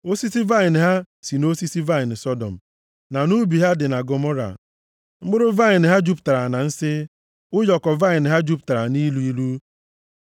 Osisi vaịnị ha si nʼosisi vaịnị Sọdọm, na nʼubi dị na Gọmọra mkpụrụ vaịnị ha jupụtara na nsi, ụyọkọ vaịnị ha jupụtara nʼilu ilu.